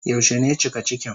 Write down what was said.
Yaushe ne cika cikin?